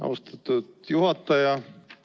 Austatud juhataja!